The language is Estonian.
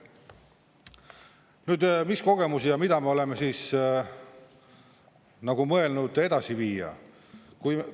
Nüüd, mis kogemusi ja mida me oleme nagu mõelnud edasi viia?